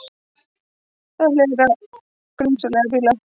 Vill hlera grunsamlega bíla